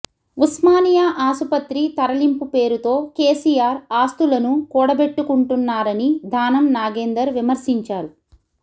ఉస్మానియా ఆసుపత్రి తరలింపు పేరుతో కేసీఆర్ ఆస్తు లను కూడబెట్టుకుంటున్నారని దానం నాగేందర్ విమర్శించారు